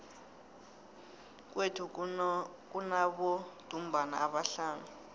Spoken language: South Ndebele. kwethu kunabodumbana abahlanu